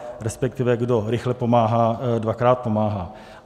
Respektive kdo rychle pomáhá, dvakrát pomáhá.